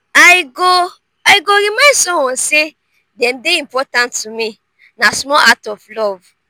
i go i go remind someone say dem dey important to me; na small act of love.